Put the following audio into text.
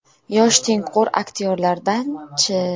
Yosh, tengqur aktyorlardan-chi?